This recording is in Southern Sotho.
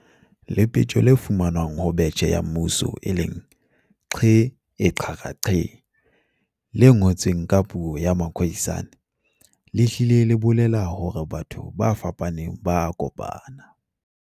Lepetjo le fumanwang ho betjhe ya mmuso, "!ke e: /xarra //ke" le ngotsweng ka puo ya Ma-Khoisane, le hlile le bolela hore batho ba fapaneng ba a kopana.